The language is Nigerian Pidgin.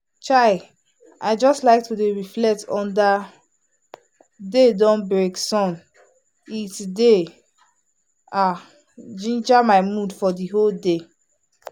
chai! i just like to reflect under day don break sun it dey um ginger my mood for the whole day.